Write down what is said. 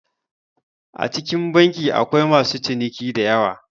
A cikin banki akwai masu ciniki diyawa